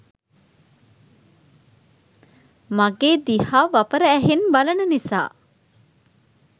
මගේ දිහා වපර ඇහෙන් බලන නිසා